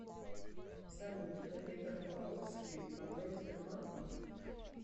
салют давид рафаловский управляет сбербанком